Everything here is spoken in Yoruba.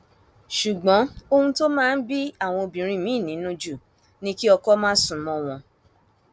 ṣùgbọn ohun tó máa ń bí àwọn obìnrin miín nínú jù ni kí ọkọ má sún mọ wọn